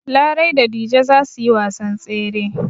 Larai da Dije za su yi wasan tsere.